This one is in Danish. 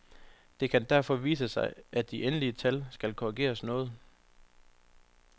Det kan derfor vise sig, at de endelige tal skal korrigeres noget.